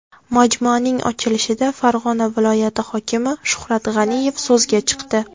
Majmuaning ochilishida Farg‘ona viloyati hokimi Shuhrat G‘aniyev so‘zga chiqdi.